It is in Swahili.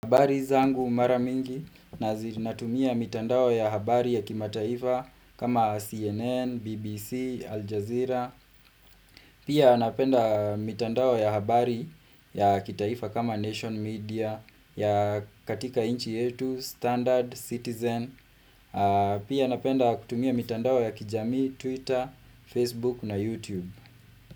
Habari zangu mara mingi, natumia mitandao ya habari ya kimataifa kama CNN, BBC, Aljazeera. Pia napenda mitandao ya habari ya kitaifa kama Nation Media, ya katika inchi yetu, Standard, Citizen. Pia napenda kutumia mitandao ya kijamii, Twitter, Facebook na YouTube.